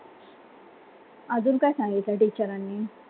अजून काय सांगितलं teacher नी